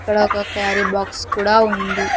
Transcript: ఇక్కడ ఒక carry box కూడా ఉంది.